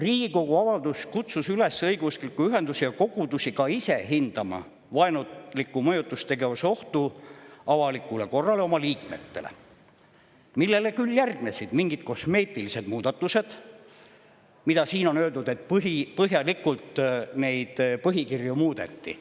Riigikogu avaldus kutsus õigeusklikke ühendusi ja kogudusi üles ka ise hindama vaenuliku mõjutustegevuse ohtu avalikule korrale ja oma liikmetele, millele küll järgnesid mingid kosmeetilised muudatused, mille kohta siin on öeldud, et neid põhikirju põhjalikult muudeti.